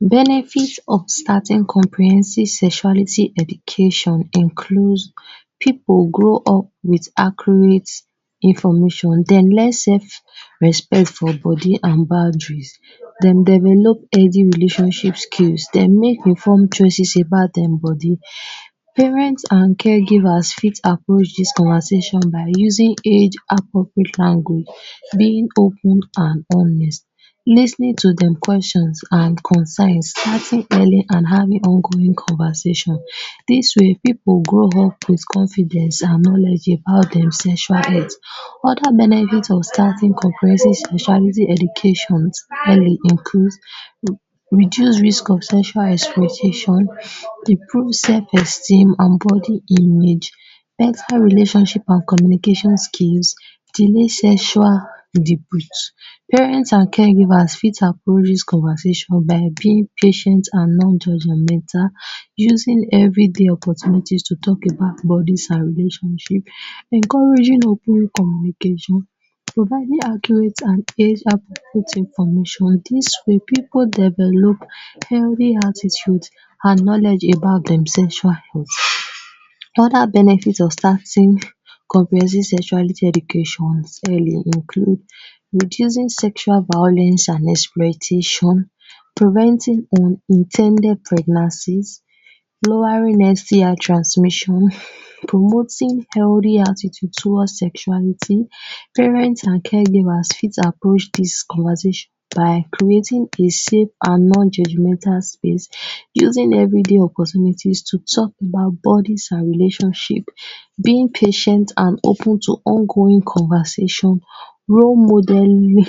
Benefit of starting comprehensive sexuality education includes pipu grow up with accurate information; den learn sef respect for bodi an boundaries; dem develop healthy relationship skills; dem make informed choices about dem bodi. Parents an care givers fit approach dis conversation by using age appropriate angle, being open an honest, lis ten ing to dem questions an concerns starting early, an having ongoing conversation. Dis way, pipu grow up with confidence an knowledge about dem sexual health. Other benefit of starting comprehensive sexuality educations early includes: reduce risk of sexual exploitation; dey prove sef esteem an bodi image; personal relationship an communication skills; delay sexual debut. Parents an care givers fit approach dis conversation by being patient an non-judgemental, using every day opportunities to talk about bodies an relationship, encouraging open communication, providing accurate an age appropriate information. Dis way, pipu develop healthy attitude an knowledge about dem sexual health. Another benefit of starting comprehensive sexuality educations early include: reducing sexual violence an exploitation; preventing unin ten ded pregnancies; lowering STI transmission; promoting healthy attitude toward sexuality. Parent an caregivers fit approach dis conversation by creating a safe an non-judgemental space using every day opportunities to talk about bodies an relationship, being patient an open to ongoing conversation, role modelling